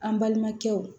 An balimakɛw